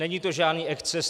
Není to žádný exces.